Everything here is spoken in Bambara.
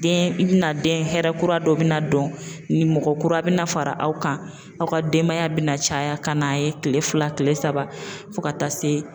Den i bɛna den hɛrɛ kura dɔ bɛna dɔn, ni mɔgɔ kura bɛna fara aw kan, aw ka denbaya bɛna caya ka n'a ye kile fila kile saba fo ka taa se